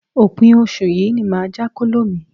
Òpin oṣù yìí ni màá já kóló mi.